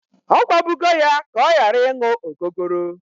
Ọ gwabugo ya ka ọ gharaị ịṅụ ogogoro!